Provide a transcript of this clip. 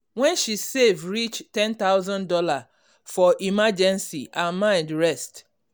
when she save reach one thousand dollars0 for emergency her mind rest